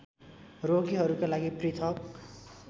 रोगीहरूका लागि पृथक्